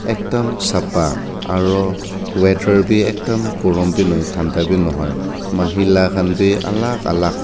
ekdum sapa aro weather bi ekdum gorom bi nahoi thanda bi nahoi aro mahila khan bi alak alak--